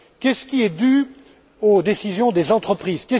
Qu'est ce qui est dû aux décisions des entreprises?